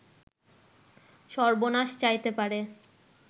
সর্বনাশ চাইতে পারে